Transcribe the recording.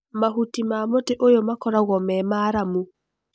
Mahuti ma mũtĩ ũyũ makoragũo me maramu.